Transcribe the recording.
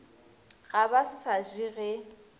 ga ba se je ge